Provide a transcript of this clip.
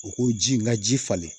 U ko ji n ga ji falen